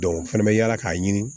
o fɛnɛ bɛ yaala k'a ɲini